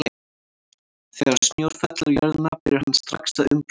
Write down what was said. Þegar snjór fellur á jörðina byrjar hann strax að umbreytast.